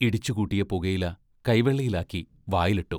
ഇടിച്ചു കൂട്ടിയ പുകയില കൈവെള്ളയിൽ ആക്കി വായിലിട്ടു.